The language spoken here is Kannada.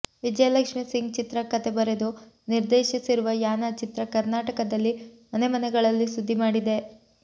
ವಿಜಯ ಲಕ್ಷ್ಮಿ ಸಿಂಗ್ ಚಿತ್ರ ಕಥೆ ಬರೆದು ನಿರ್ದೇಶಿಸಿರುವ ಯಾನ ಚಿತ್ರ ಕರ್ನಾಟಕದಲ್ಲಿ ಮನೆಮನೆಗಳಲ್ಲಿ ಸುದ್ದಿ ಮಾಡಿದೆ